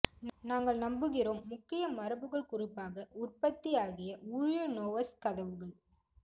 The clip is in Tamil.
நாங்கள் நம்புகிறோம் முக்கிய மரபுகள் குறிப்பாக உற்பத்தி ஆகிய ஊழியனோவ்ஸ்க் கதவுகள்